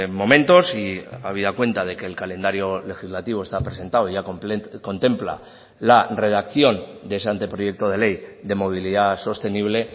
momentos y habida cuenta de que el calendario legislativo está presentado ya contempla la redacción de ese anteproyecto de ley de movilidad sostenible